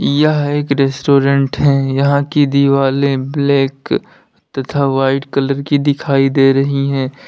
यह एक रेस्टोरेंट है यहां की दीवालें ब्लैक तथा व्हाइट कलर की दिखाई दे रही हैं।